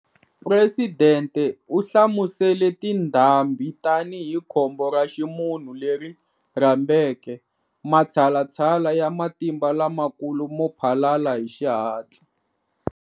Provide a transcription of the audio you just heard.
Presidente u hlamusele tindhambi tanihi khombo ra ximunhu leri rhambeke matshalatshala ya matimba lamakulu mo phalala hi xihatla.